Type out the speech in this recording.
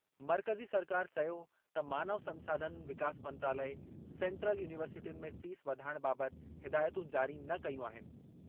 मर्कज़ी सरकार चयो त मानव संसाधन विकास मंत्रालय, सैंट्रल यूनिवर्सिटियुनि में फ़ीस वधाइण बाबति हिदायतूं जारी न कयूं आहिनि।